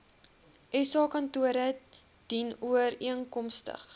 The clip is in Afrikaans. sa kantore dienooreenkomstig